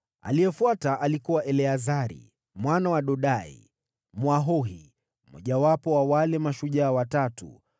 Aliyefuata alikuwa Eleazari, mwana wa Dodai, Mwahohi, mmojawapo wa wale mashujaa watatu.